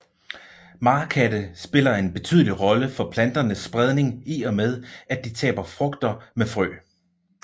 Marekatte spiller en betydelig rolle for planternes spredning i og med at de taber frugter med frø